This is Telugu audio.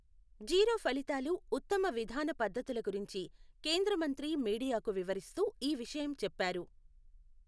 జీరో ఫలితాలు, ఉత్తమ విధాన పద్ధతుల గురించి కేంద్రమంత్రి మీడియాకు వివరిస్తూ ఈ విషయం చెప్పారు.